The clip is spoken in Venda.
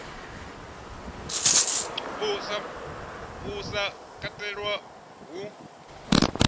uhu u sa katelwa hu